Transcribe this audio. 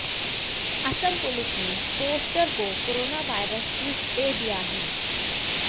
Assam police ने poster को corona virus twist दे दिया है